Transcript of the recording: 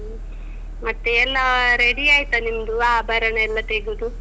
ಮತ್ತೆ ಎಲ್ಲಾ ready ಆಯ್ತಾ ನಿಮ್ದು ಆಭರಣ ಎಲ್ಲಾ ತೇಗ್ದು.